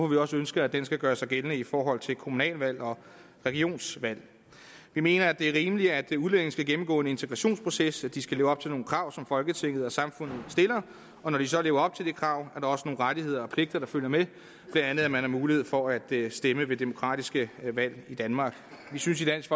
vi også ønsker at den skal gøres gældende i forhold til kommunalvalg og regionsvalg vi mener det er rimeligt at udlændinge skal gennemgå en integrationsproces og at de skal leve op til nogle krav som folketinget og samfundet stiller og når de så lever op til de krav er der også nogle rettigheder og pligter der følger med blandt andet at man har mulighed for at stemme ved demokratiske valg i danmark vi synes i dansk